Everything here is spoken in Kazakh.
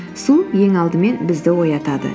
су ең алдымен бізді оятады